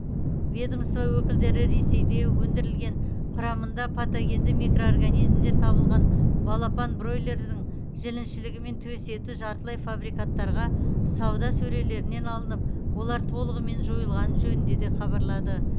ведомство өкілдері ресейде өндірілген құрамында патогенді микроорганизмдер табылған балапан бройлердің жіліншігі мен төс еті жартылай фабрикаттарға сауда сөрелерінен алынып олар толығымен жойылғаны жөнінде де хабарлады